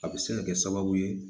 A bɛ se ka kɛ sababu ye